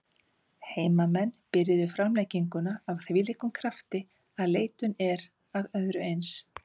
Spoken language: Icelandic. Heimamenn byrjuðu framlenginguna af þvílíkum krafti að leitun er að öðru eins.